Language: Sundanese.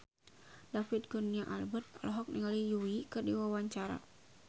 David Kurnia Albert olohok ningali Yui keur diwawancara